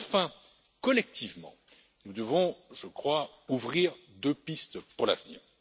Enfin, collectivement, nous devons, je crois, ouvrir deux pistes pour l'avenir.